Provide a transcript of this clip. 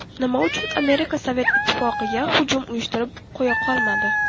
Nima uchun Amerika Sovet Ittifoqiga hujum uyushtirib qo‘ya qolmadi?